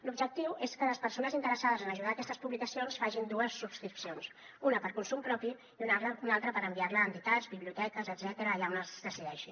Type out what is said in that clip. l’objectiu és que les persones interessades en ajudar aquestes publicacions facin dues subscripcions una per a consum propi i una altra per enviar la a entitats biblioteques etcètera allà on es decideixi